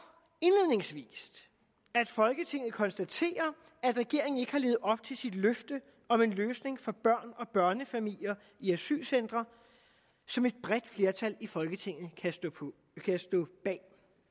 indledningsvis at folketinget konstaterer at regeringen ikke har levet op til sit løfte om en løsning for børn og børnefamilier i asylcentre som et bredt flertal i folketinget kan stå bag